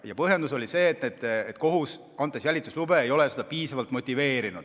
Põhjendus oli see, et kohus, andes jälituslube, ei motiveerinud seda piisavalt.